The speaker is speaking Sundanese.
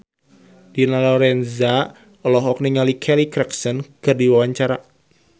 Dina Lorenza olohok ningali Kelly Clarkson keur diwawancara